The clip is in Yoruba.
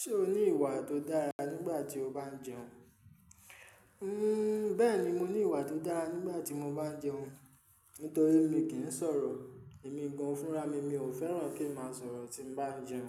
Ṣé o ní ìwà tó dára nígbà tí o bá ń jẹun? Bẹ́ẹ̀ni, mo ní ìwà tó dára nígbà tí mo bá ń jẹun. Nítorí mi kì í sọ̀rọ̀, èmi gan-an fúnra-mi, mi ò fẹ́ràn kí ń má sọ̀rọ̀ tí n bá ń jẹun,